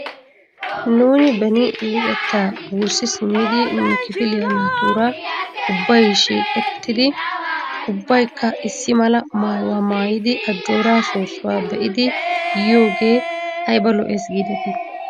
Nuuni beni nu luxettaa wurssi simmidi nu kifiliyaa naatuura ubbay shiiqettidi ubbaykka issi mala maayuwaa maayidi ajjooraa soossuwaa be'idi yiidoogee ayba lo''es giidetii?